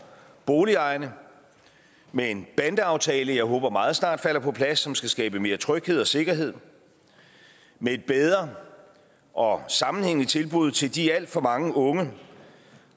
boligejerne med en bandeaftale som jeg håber meget snart falder på plads som skal skabe mere tryghed og sikkerhed med et bedre og sammenhængende tilbud til de alt for mange unge